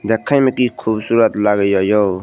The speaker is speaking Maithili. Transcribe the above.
देखे में की खूबसूरत लागययो।